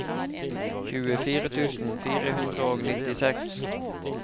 tjuefire tusen fire hundre og nittiseks